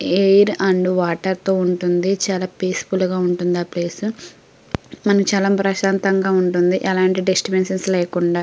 Air and water తో ఉంటుంది. చాలా పీస్ఫుల్ గా ఉంటుంది ఆ ప్లేస్ . మనకి చాలా ప్రశాంతంగా ఉంటుంది. ఎలాంటి డిస్టర్బెన్సెస్ లేకుండా.